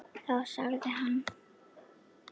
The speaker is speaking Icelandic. Þá sagði hann